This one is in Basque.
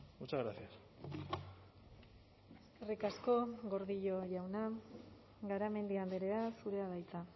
muchas gracias eskerrik asko gordillo jauna garamendi andrea zurea da hitza